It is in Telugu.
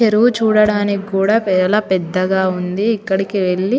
చెరువు చూడడానికి చాల పెద్దగా వుంది ఇక్కడికి వెళ్లి --